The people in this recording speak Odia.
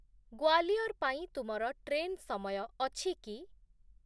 ଗ୍ଵାଲିୟର ପାଇଁ ତୁମର ଟ୍ରେନ୍ ସମୟ ଅଛି କି?